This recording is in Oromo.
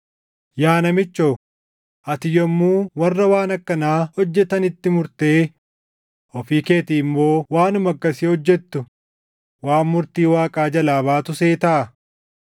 Yaa namichoo, ati yommuu warra waan akkanaa hojjetanitti murtee ofii keetii immoo waanuma akkasii hojjettu waan murtii Waaqaa jalaa baatu seetaa?